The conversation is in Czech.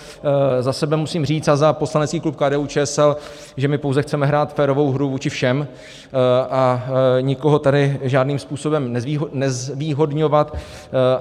Za sebe musím říct, a za poslanecký klub KDU-ČSL, že my pouze chceme hrát férovou hru vůči všem a nikoho tady žádným způsobem nezvýhodňovat.